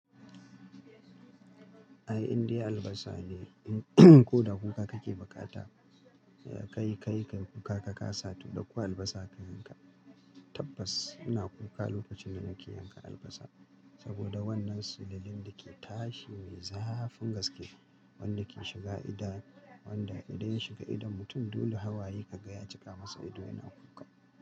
Ai indai albasa ne, ko da kuka kake bukata, kayi kayi ka yi kuka ka kasa to ɗauko albasa ka yanka. Tabbas ina kuka lokacin da nake yanka albasa saboda wannan sululen da ke tashi me zafin gaske wanda ke shiga ido, wanda idan ya shiga idon mutum dole hawaye ka gaya cika masa ido yana kuka.